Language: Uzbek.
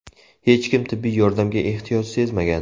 Hech kim tibbiy yordamga ehtiyoj sezmagan.